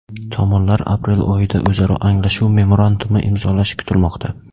Tomonlar aprel oyida o‘zaro anglashuv memorandumi imzolashi kutilmoqda.